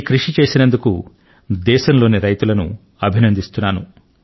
దీనికి గాను దేశంలోని రైతులను నేను అభినందిస్తున్నాను